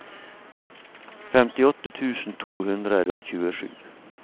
femtiåtte tusen to hundre og tjuesju